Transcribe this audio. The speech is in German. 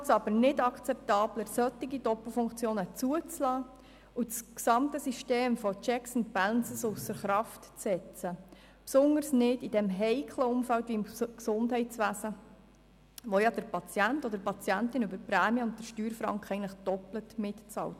Dadurch wird es aber nicht akzeptabler, solche Doppelfunktionen zuzulassen und das gesamte System der Checks and Balances ausser Kraft zu setzen, insbesondere nicht im heiklen Umfeld des Gesundheitswesens, wo der Patient oder die Patientin über die Prämien und die Steuern doppelt mitbezahlt.